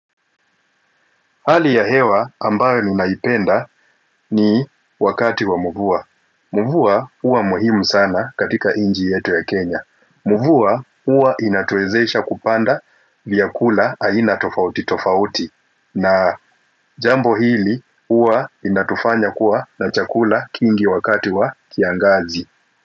Hali ya hewa ambayo ninaipenda, ni wakati wa mvua. Mvua uwa muhimu sana katika nchi yetu ya Kenya. Mvua huwa inatuwezesha kupanda vyakula aina tofauti tofauti. Na jambo hili huwa inatufanya kuwa na chakula kingi wakati wa kiangazi.